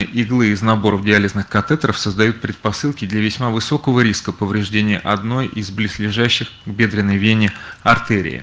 иглы из наборов диализных катетеров создают предпосылки для весьма высокого риска повреждения одной из близлежащих бедренной вене артерии